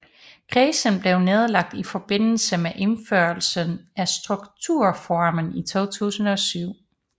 Kredsen blev nedlagt i forbindelse med indførelsen af Strukturreformen i 2007